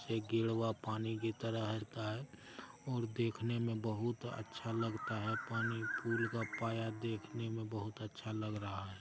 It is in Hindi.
गिरा हुआ पानी की तरह रहता हैं और देखने में बहुत अच्छा लगता हैं पानी में पुल का पाया देखने में बहुत अच्छा लग रहा हैं।